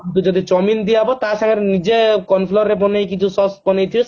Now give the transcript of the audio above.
ତମକୁ ଯଦି chow mean ଦିଆହେବ ତା ସାଙ୍ଗରେ ନିଜେ cornflower ରେ ବନେଇକି ଯୋଉ Sause ବନେଇ ଥିବେ